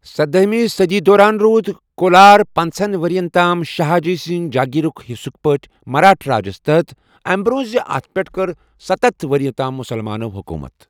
سَداہِمہِ صدی دوران روٗد کولار پنٛژہَن ورین تام شاہا جی سنٛز جاگیرٕک حصہٕک پٲٹھۍ مراٹھہ راجس تحت، أمہ برونٛہہ زِ اتھ پٮ۪ٹھ کٔر ستتھ وری تام مسلمانو حکوٗمت۔